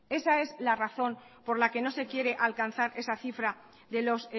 esa es la razón por la que no se quiere alcanzar esa cifra de los